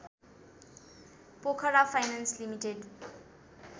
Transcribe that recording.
Pokhara finance limited